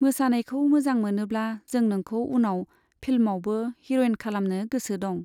मोसानायखौ मोजां मोनोब्ला जों नोंखौ उनाव फिल्मआवबो हिर'इन खालामनो गोसो दं।